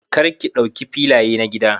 Kar ki dauki filaya na gida.